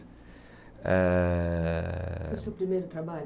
Eh Foi o seu primeiro trabalho?